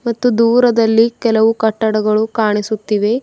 ಮತ್ತು ದೂರದಲ್ಲಿ ಕೆಲವು ಕಟ್ಟಡಗಳು ಕಾಣಿಸುತ್ತಿವೆ.